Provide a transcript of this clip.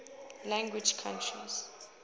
language countries